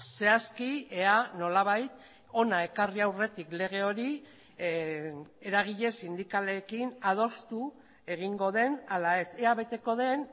zehazki ea nolabait hona ekarri aurretik lege hori eragile sindikalekin adostu egingo den ala ez ea beteko den